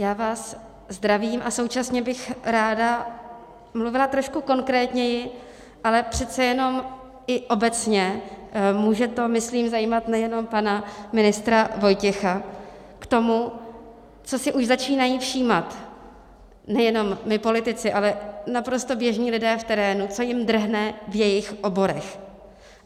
Já vás zdravím a současně bych ráda mluvila trošku konkrétněji, ale přece jenom i obecně, může to, myslím, zajímat nejenom pana ministra Vojtěcha, k tomu, čeho si už začínáme všímat nejenom my politici, ale naprosto běžní lidé v terénu, co jim drhne v jejich oborech.